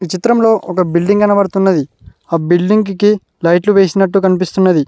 చిత్రంలో ఒక బిల్డింగ్ కనబడుతున్నది ఆ బిల్డింగ్ కి లైట్లు వేసినట్టు కనిపిస్తున్నది.